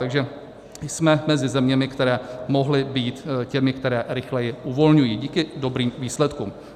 Takže jsme mezi zeměmi, které mohly být těmi, které rychleji uvolňují díky dobrým výsledkům.